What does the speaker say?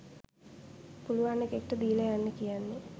පුළුවන් එකෙක්ට දීල යන්න කියන්නේ.